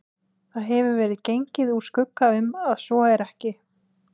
Það hefur verið gengið úr skugga um, að svo er ekki